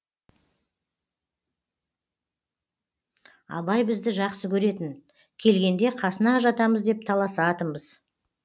абай бізді жақсы көретін келгенде қасына жатамыз деп таласатынбыз